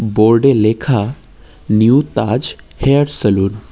Board -এ লেখা new Taj hair salon.